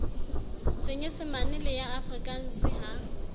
senyesemane le ya afrikanse ha